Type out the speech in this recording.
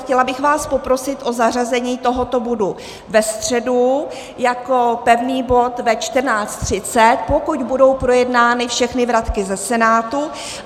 Chtěla bych vás poprosit o zařazení tohoto bodu na středu jako pevný bod ve 14.30, pokud budou projednány všechny vratky ze Senátu.